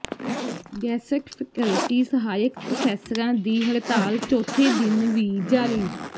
guest faculty ਸਹਾਇਕ ਪੋ੍ਫੈਸਰਾਂ ਦੀ ਹੜਤਾਲ ਚੌਥੇ ਦਿਨ ਵੀ ਜਾਰੀ